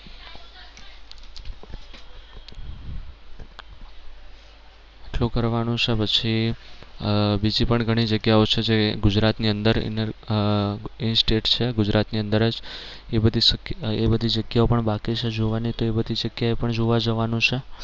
આટલું કરવાનું છે પછી આહ બીજી પણ ઘણી જગ્યાઓ છે જે ગુજરાત ની અંદર આહ instate છે ગુજરાત ની અંદર જ એ બધી એ બધી જગ્યાઓ પણ બાકી છે જોવાની તો એ બધી જગ્યા એ પણ જોવા જવાનું છે.